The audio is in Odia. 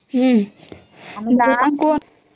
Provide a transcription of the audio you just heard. ହମ୍ମ